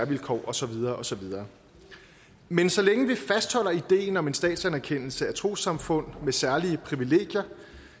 vilkår og så videre og så videre men så længe vi fastholder ideen om en statsanerkendelse af trossamfund med særlige privilegier